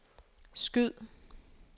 skyd